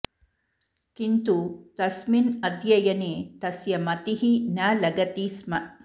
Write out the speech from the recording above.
किन्तु तस्मिन् अध्ययने तस्य मतिः न लगति स्म